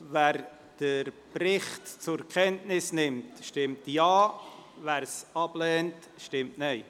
Wer den Bericht zur Kenntnis nimmt, stimmt Ja, wer die Kenntnisnahme ablehnt, stimmt Nein.